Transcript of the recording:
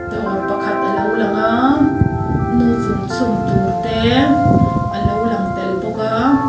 dawr pakhat a lo lang aa noodle chhum tur te a lo lang tel bawk aa.